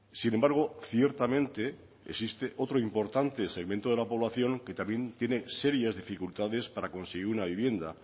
sin embargo ciertamente existe otro importante segmento de la población que también tiene serias dificultades para conseguir una vivienda